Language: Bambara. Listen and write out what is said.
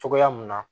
Cogoya mun na